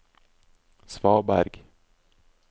svaberg